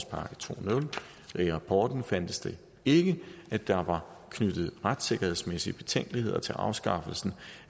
i rapporten fandtes det ikke at der var knyttet retssikkerhedsmæssige betænkeligheder til afskaffelsen